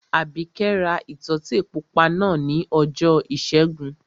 Àbíkẹ́ ra ìtọ́tè pupa náà ní ọjọ́ ìṣẹ́gun